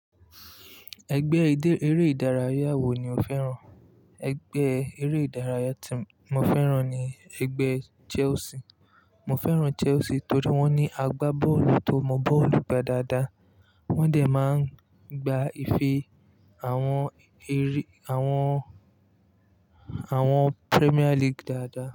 Ẹgbẹ́ eré ìdárayá wo ni o fẹ́ràn? Ẹgbẹ́ eré ìdárayá tí mo fẹ́ràn ni ẹgbẹ́ Chelsea. Mo fẹ́ràn Chelsea torí wọ́n ní agbá bọ́ọ̀lù tó mọ bọ́ọ̀lù gba dáadáa. Wọ́n dẹ̀ máa ń gba ife àwọn erí, àwọn, àwọn Premier League dáadáa.